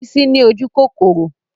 Bísí ni ojúkòkòrò